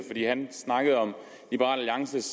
han snakkede om liberal alliances